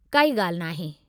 काई ॻाल्हि नाहे!